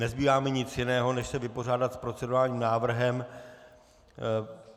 Nezbývá mi nic jiného, než se vypořádat s procedurálním návrhem.